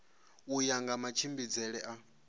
u ya nga matshimbidzele a